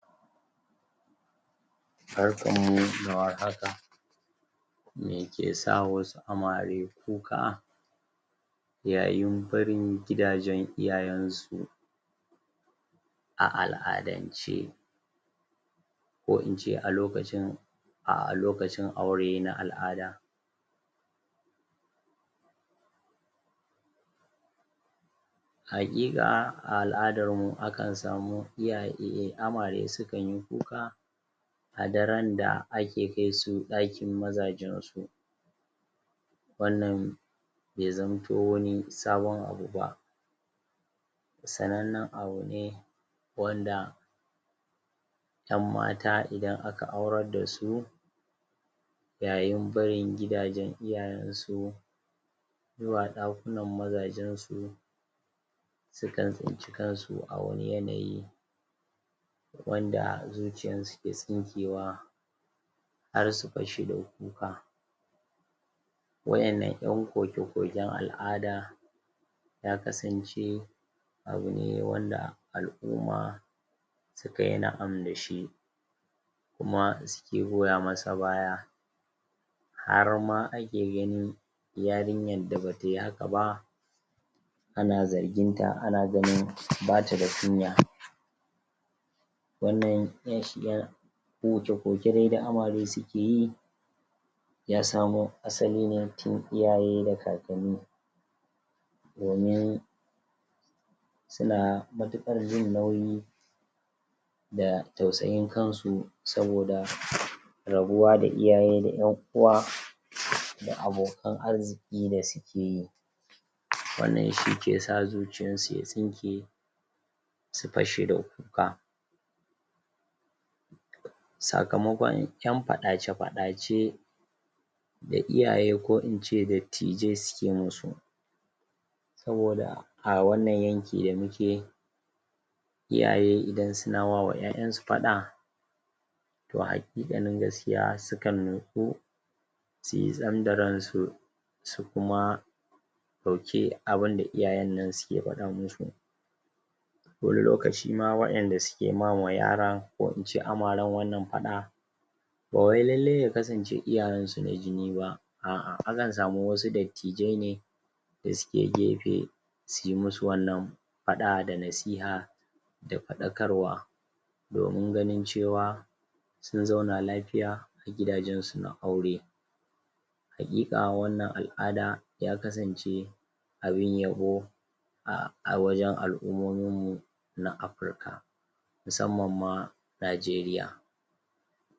Barkan mu da warhaka me ke sa wasu amare kuka? yayin barin gidajen iyayen su a al'adance ko in ce a lokacin a lokacin aure na al'ada hakika a al'adar mu akan samu iyaye amare su kan yi kuka a daren da za'a kai su dakin mazajen su wannan bai zamanto wani sabon abu ba sanannan abu ne wanda yan mata idan aka aure da su yayin barin gidajen iyayensu zuwa dakunan mazajen su sukan cinci kansu a wani yanayi wanda zuciyan su ke tsinkewa har su fashe da kuka wayannan'yan koke koken al'ada ya kasance abu ne wanda al'uma su ka yi na'am da shi kuma suke gora masa baya har ma ake ganin yarinyan da ba ta yi haka ba ana zargin ta ana gani ba ta da kunya wannan? koke koke da amare su ke yi ya samo asali ne tun iyaye ne da kakani domin su na matukar jin nauyi da tausayin kan su soboda rabuwa da iyaye da yan uwa da abokan arziki da su ke yi wannan shi ke sa zuciyan su ya tsinke su fashe da kuka sakamakon 'yan fadace fadace da iyaye ko ince dattijai su ke mu su soboda a wannan 'yanki da muke iyaye idan su na wa 'ya'yan su fada toh hakika nan gaskiya su kan? su yi tsayan da rai su su kuma su dauke abun da iyayen nan ke fada musu wani lokaci ma wayan da suke ma wa yara? amaran fada ba wai lalle ya kasance iyayen su na jini ba a a akansamu wasu dattijaine da su ke gefe su yi musu wannan fada da nasiha da fadakarwa domin ganin cewa sun zauna lafiya gidajen su na aure hakika wannan al'ada ya kasance abin yabo a wajen al'umomin muna Africa musamman ma Najeriya